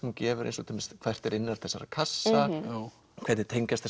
hún gefur eins og til dæmis hvert er innihald þessara kassa og hvernig tengjast